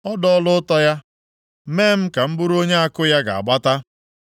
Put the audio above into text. Ọ dọọla ụta ya mee m ka m bụrụ onye àkụ ya ga-agbata.